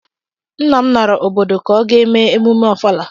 Nna m nara obodo ka ọ gaa emume Ọfala